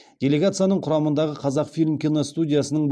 делегацияның құрамындағы қазақфильм киностудиясының